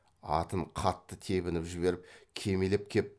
атын қатты тебініп жіберіп кимелеп кеп